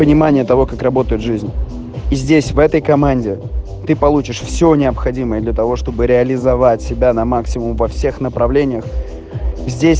понимание того как работает жизнь и здесь в этой команде ты получишь все необходимое для того чтобы реализовать себя на максимум во всех направлениях здесь